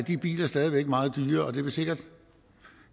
de biler stadig væk meget dyre og det vil sikkert